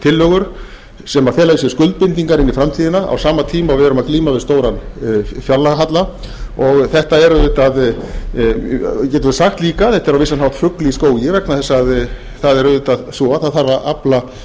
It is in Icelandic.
tillögur sem fela í sér skuldbindingar inn í framtíðina á sama tíma og við erum að glíma við stóran fjárlagahalla þetta er auðvitað getum við sagt líka þetta er á vissan hátt fugl í skógi vegna þess að það er auðvitað svo að það þarf að afla